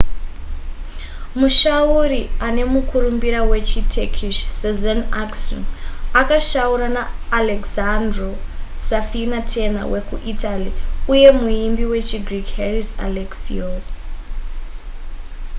mushauri ane mukurumbira wechiturkish sezen aksu akashaura na alessandro safina tenor wekuitaly uye muimbi wechigreek haris alexiou